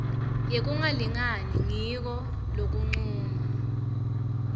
yekungalingani ngiko lokuncuma